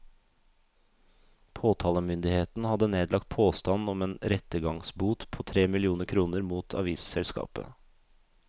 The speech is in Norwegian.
Påtalemyndigheten hadde nedlagt påstand om en rettergangsbot på tre millioner kroner mot avisselskapet.